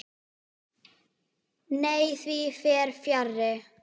Nei, því fer fjarri.